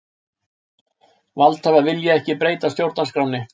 Valdhafar vilja ekki breyta stjórnarskránni